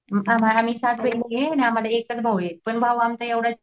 आम्ही पाच बहिणी आम्हाला एकच भाऊ आहे पण भाऊ आमचा